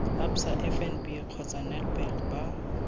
absa fnb kgotsa nedbank ba